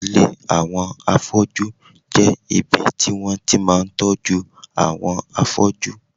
Ilé àwọn afọ́jú jẹ́ ibi tí wọ́n ti máa ń tọ́jú àwọn afọ́jú